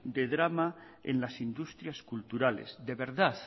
de drama en las industrias culturales de verdad